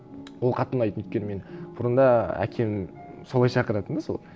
ол қатты ұнайтын өйткені мені бұрында әкем солай шақыратын да сол